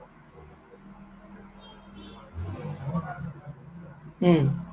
উম